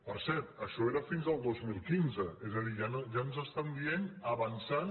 per cert això era fins al dos mil quinze és a dir ja ens estan dient avançant